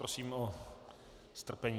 Prosím o strpení.